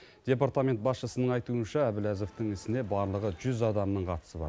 департамент басшысының айтуынша әбләзовтың ісіне барлығы жүз адамның қатысы бар